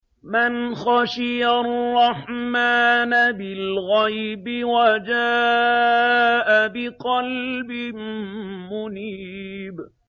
مَّنْ خَشِيَ الرَّحْمَٰنَ بِالْغَيْبِ وَجَاءَ بِقَلْبٍ مُّنِيبٍ